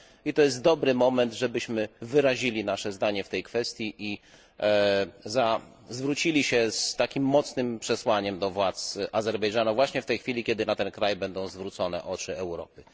To jest dobry moment, żebyśmy wyrazili nasze zdanie w tej kwestii i zwrócili się z mocnym przesłaniem do władz Azerbejdżanu, właśnie w tej chwili, kiedy na ten kraj będą zwrócone oczy Europy.